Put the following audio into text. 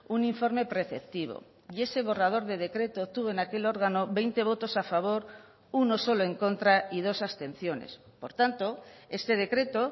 un informe preceptivo y ese borrador de decreto tuvo en aquel órgano veinte votos a favor uno solo en contra y dos abstenciones por tanto este decreto